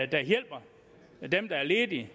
der hjælper dem der er ledige